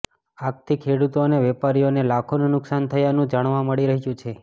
આગથી ખેડૂતો અને વેપારીઓને લાખોનું નુકસાન થયાનું જાણવા મળી રહ્યું છે